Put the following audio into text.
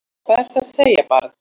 Hvað ertu að segja barn?